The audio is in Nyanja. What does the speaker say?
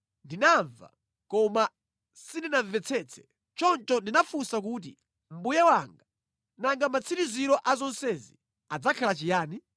Ndinamva, koma sindinamvetsetse. Choncho ndinafunsa kuti, “Mbuye wanga, nanga matsiriziro a zonsezi adzakhala chiyani?”